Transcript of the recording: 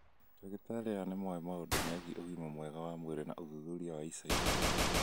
Ndagĩtarĩ aya nĩ moĩ maũndũ megiĩ ũgima mwega wa mwĩrĩ na ũthuthuria wa ica ikuhĩ.